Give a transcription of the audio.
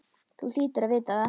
Þú hlýtur að vita það.